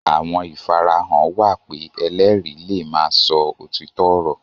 Àwọn ìfarahàn wà pé ẹlẹ́rìí le ma sọ òtítọ́ ọ̀rọ̀